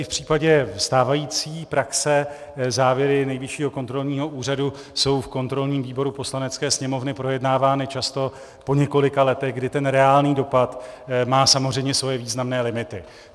I v případě stávající praxe závěry Nejvyššího kontrolního úřadu jsou v kontrolním výboru Poslanecké sněmovny projednávány často po několika letech, kdy ten reálný dopad má samozřejmě svoje významné limity.